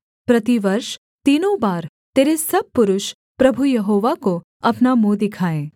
प्रतिवर्ष तीनों बार तेरे सब पुरुष प्रभु यहोवा को अपना मुँह दिखाएँ